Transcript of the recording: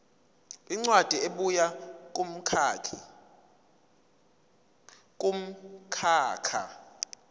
incwadi ebuya kumkhakha